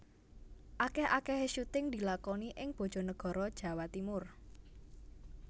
Akeh akehe syuting dilakoni ing Bojonegoro Jawa Timur